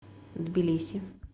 тбилиси